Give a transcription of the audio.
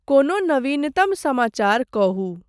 कोनो नवीनतम समाचार कहू।